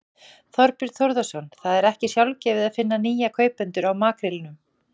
Þorbjörn Þórðarson: Það er ekki sjálfgefið að finna nýja kaupendur á makrílum?